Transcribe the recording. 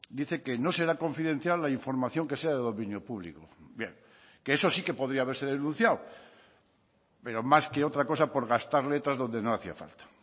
dice que no será confidencial la información que sea de dominio público bien que eso sí que podía haberse denunciado pero más que otra cosa por gastar letras donde no hacía falta